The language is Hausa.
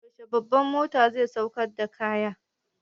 Yaushe babbar motan zai sauƙar da kayan?